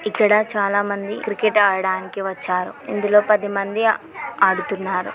ఇక్కడ చాలా మంది క్రికెట్ ఆడడానికి వచ్చారు. ఇందులో పది మంది ఆడుతున్నారు.